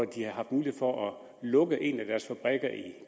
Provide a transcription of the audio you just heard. de har haft mulighed for at lukke en af deres fabrikker i